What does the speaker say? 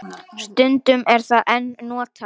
Stundum er það enn notað.